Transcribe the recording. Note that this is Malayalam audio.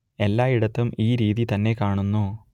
എല്ലായിടത്തും ഈ രീതി തന്നെ കാണുന്നു